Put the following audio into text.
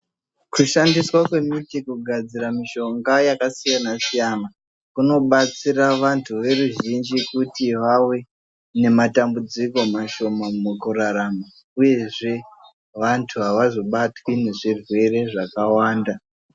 Kushandiswa kwemiti kugadzira mishonga yakasiyana siyana kunobatsira vantu veruzhinji kuti vave nematambudziko mashoma mukurara uyezve vantu avazobatwi ngezvirwere zvakawanda.